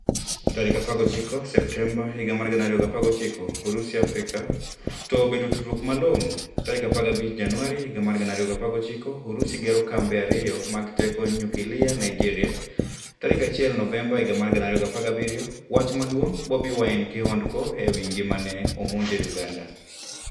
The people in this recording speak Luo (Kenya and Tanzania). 19 Septemba 2019 Urusi Afrika: To obedo tudruok malong'o? 15 Januari 2019 Urusi gero kambe ariyo mag teko nyukilia Naijeria 1 Novemba 2017.Wach maduong' Bobi Wine kihondko ewi ngimane omonje Uganda